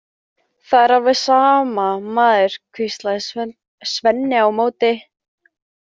Það er alveg sama, maður, hvíslaði Svenni á móti.